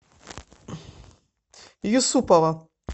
юсупова